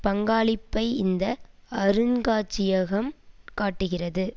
பங்காளிப்பை இந்த அருங்காட்சியகம் காட்டுகிறது